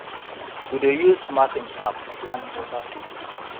we dey use mapping app plan water flow